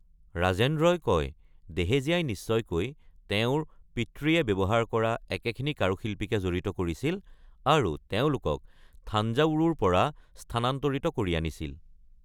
ৰাজেন্দ্ৰই কয়, দেহেজিয়াই নিশ্চয়কৈ তেওঁৰ পিতৃয়ে ব্যৱহাৰ কৰা একেখিনি কাৰুশিল্পীকে জড়িত কৰিছিল আৰু তেওঁলোকক থাঞ্জাৱুৰৰ পৰা স্থানান্তৰিত কৰি আনিছিল।